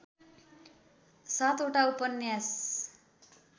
सातवटा उपन्यास